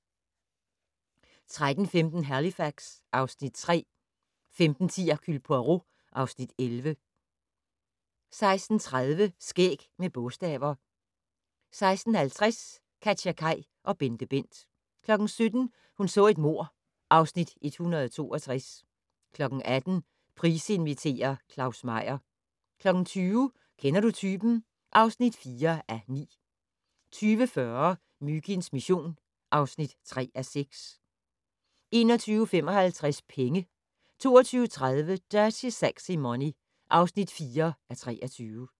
13:15: Halifax (Afs. 3) 15:10: Hercule Poirot (Afs. 11) 16:30: Skæg med bogstaver 16:50: KatjaKaj og BenteBent 17:00: Hun så et mord (Afs. 162) 18:00: Price inviterer - Claus Meyer 20:00: Kender du typen? (4:9) 20:40: Myginds mission (3:6) 21:55: Penge 22:30: Dirty Sexy Money (4:23)